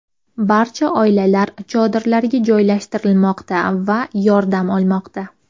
Barcha oilalar chodirlarga joylashtirilmoqda va yordam olmoqda.